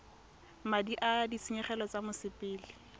madi a ditshenyegelo tsa mosepele